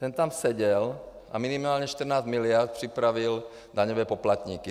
Ten tam seděl a minimálně 14 mld. připravil daňové poplatníky.